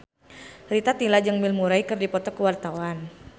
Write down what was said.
Rita Tila jeung Bill Murray keur dipoto ku wartawan